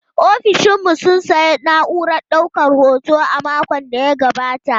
Ofishin mu sun sayi na'urar daukar hoto a makon da ya gabata.